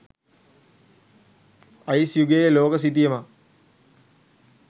ice යුගයේ ලෝක සිතියමක්